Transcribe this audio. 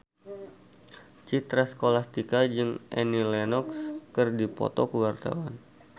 Citra Scholastika jeung Annie Lenox keur dipoto ku wartawan